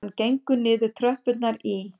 Hann gengur niður tröppurnar í